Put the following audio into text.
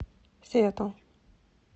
сиэтл